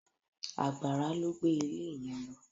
Àgbàrá ló gbé ilé yẹn lọ.